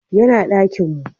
Ya na dakinmu